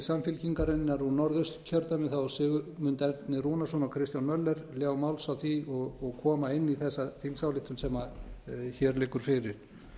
samfylkingarinnar úr norðausturkjördæmi þá sigmund erni rúnarsson og kristján möller ljá máls á því og koma inn í þessa þingsályktun sem hér liggur fyrir